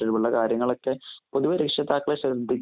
ട്ടുള്ള കാര്യങ്ങളൊക്കെ പൊതുവേ രക്ഷിതാക്കളുടെ ശ്രദ്ധി